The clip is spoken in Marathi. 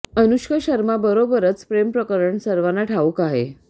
अनुष्का शर्मा बरोबरच प्रेम प्रकरण सर्वांनाच ठाऊक आहे